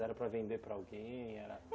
Era para vender para alguém?